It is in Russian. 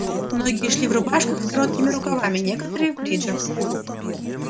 многие шли в рубашках с короткими рукавами некоторые в бриджах